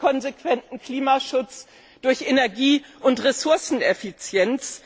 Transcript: durch konsequenten Klimaschutz, durch Energie und Ressourceneffizienz.